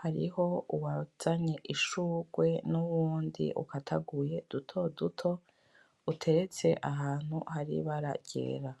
hariho uwazanye ishurwe n'uwundi ukataguye dutoduto. Uteretse ahantu hari ibara ryera.